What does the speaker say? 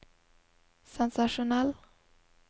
sensasjonell